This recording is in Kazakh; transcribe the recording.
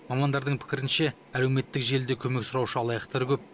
мамандардың пікірінше әлеуметтік желіде көмек сұраушы алаяқтар көп